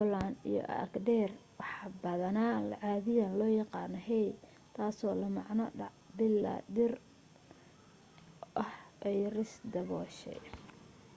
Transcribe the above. rigoland iyo agder waxa badanaa caadiyan looga yaqaano hei taasoo la macno dac bilaa dhir ah oo ay ris dabooshay